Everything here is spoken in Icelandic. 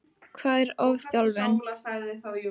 Hvað er ofþjálfun?